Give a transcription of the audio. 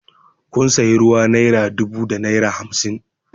Kun sayi ruwa naira dubu da naira hamsin